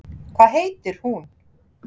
Hvað heitir hún?